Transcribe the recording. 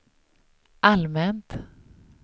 allmänt